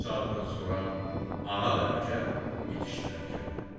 İki saatdan sonra ağa və nökər yetişdilər kəndə.